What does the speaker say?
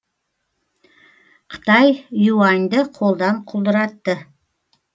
қытай юаньді қолдан құлдыратты